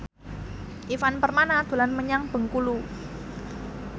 Ivan Permana dolan menyang Bengkulu